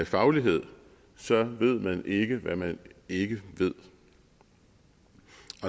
faglighed ved man ikke hvad man ikke ved